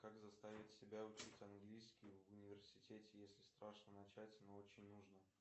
как заставить себя учить английский в университете если страшно начать но очень нужно